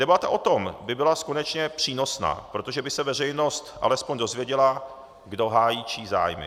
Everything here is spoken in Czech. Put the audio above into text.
Debata o tom by byla konečně přínosná, protože by se veřejnost alespoň dozvěděla, kdo hájí čí zájmy.